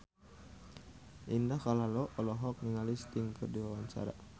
Indah Kalalo olohok ningali Sting keur diwawancara